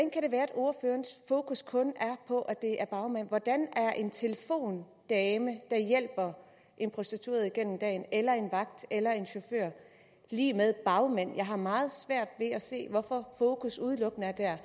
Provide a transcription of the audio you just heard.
være at ordførerens fokus kun er på at det er bagmænd hvordan er en telefondame der hjælper en prostitueret igennem dagen eller en vagt eller en chauffør lig med bagmand jeg har meget svært ved at se hvorfor fokus udelukkende er der